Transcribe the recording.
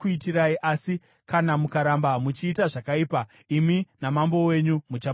Asi kana mukaramba muchiita zvakaipa, imi namambo wenyu muchaparadzwa.”